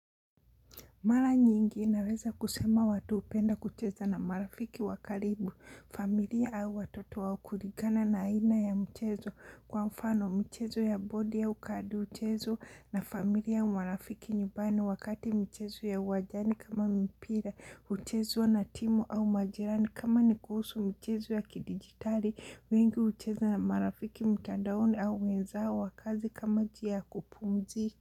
Mara nyingi naweza kusema watu hupenda kucheza na marafiki wakaribu, familia au watoto wa kurigana na aina ya mchezo kwa mfano mchezo ya bodi ya kadi uchezo na familia au marafiki nyumbani wakati mchezo ya uwanjani kama mpira, uchezo na timu au majirani kama ni kuhusu mchezo ya kidigitali, wengi ucheza na marafiki mtandaoni au wenzao wa kazi kama njia kupumziki.